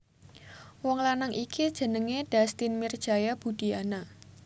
Wong lanang iki jenengé Dustin Mirjaya Budiyana